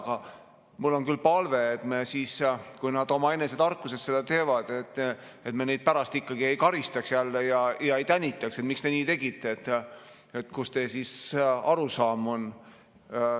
Aga mul on küll palve, et kui nad omaenese tarkusest seda teevad, et me neid siis pärast ikkagi jälle ei karistaks ega tänitaks, et miks te nii tegite, kus teie arusaam on.